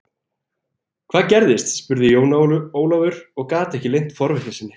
Hvað gerðist spurði Jón Ólafur og gat ekki leynt forvitni sinni.